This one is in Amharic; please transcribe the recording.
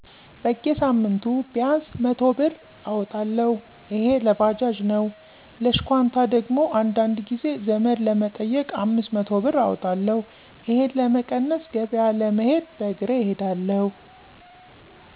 በጌሳምንቱ ቢያንስ 100ብር እወጣለሁ እሄ ለባጃጅ ነው ለሽኳንታ ደግሞ አንዳንድ ጊዜ ዘመድ ለመጠየቅ 500 ብር አወጣለሁ። እሄን ለመቀነስ ገበያ ለመሄድ በእሬ እሄዳለሁ።